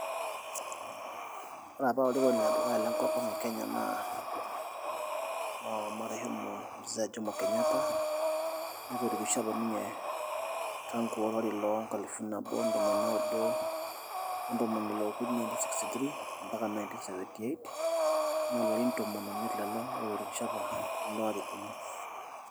Ore apa olarikoni ledukuya lenkop ang' e Kenya naa [marehem Mzee Jomo Kenyatta netorikishe apa ninye tangu olari loonkalifuni nabo ntomoni naudo oo kuni , nineteen sixty three ompaka nineteen sventy eight naa ilarin oimiet lelo ootorikishe apa ilo arikoni.